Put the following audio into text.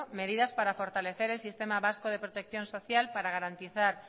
medidas para fortalecer el sistema vasco de protección social para garantizar